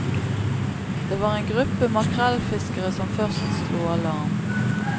Det var en gruppe makrellfiskere som først slo alarm.